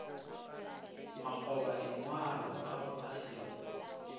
makgobadingwalo ao a se go